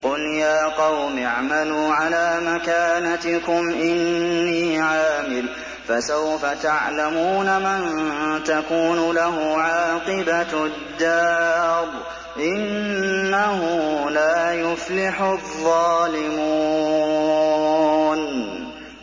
قُلْ يَا قَوْمِ اعْمَلُوا عَلَىٰ مَكَانَتِكُمْ إِنِّي عَامِلٌ ۖ فَسَوْفَ تَعْلَمُونَ مَن تَكُونُ لَهُ عَاقِبَةُ الدَّارِ ۗ إِنَّهُ لَا يُفْلِحُ الظَّالِمُونَ